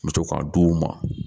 N bɛ to k'a d'u ma